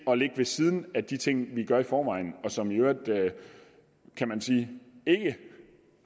at ligge ved siden af de ting vi gør i forvejen og som i øvrigt kan man sige